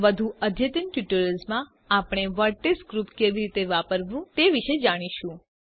વધુ અદ્યતન ટ્યુટોરિયલ્સમાં આપણે વર્ટેક્સ ગ્રુપ્સ કેવી રીતે વાપરવું તે વિષે જોઈશું